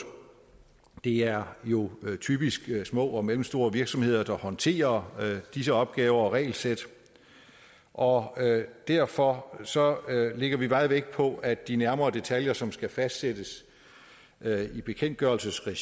det er jo typisk små og mellemstore virksomheder der håndterer disse opgaver og regelsæt og derfor lægger vi meget vægt på at de nærmere detaljer som skal fastsættes i bekendtgørelsesregi